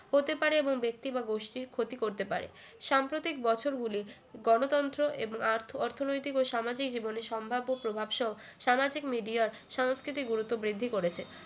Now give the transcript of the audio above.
হতে পারে এবং ব্যক্তি বা গোষ্ঠীর ক্ষতি করতে পারে সাম্প্রতিক বছরগুলি গণতন্ত্র এবং আর্থ অর্থনৈতিক ও সামাজিক জীবনের সম্ভাব্য প্রভাব স সামাজিক media সংস্কৃতি গুরুত্ব বৃদ্ধি করেছে